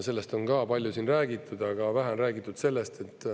Sellest on palju räägitud, aga vähe on räägitud sellest …